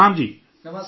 نمسکار سر!